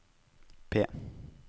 P